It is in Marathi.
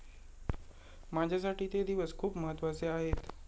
माझ्यासाठी ते दिवस खूप महत्त्वाचे आहेत.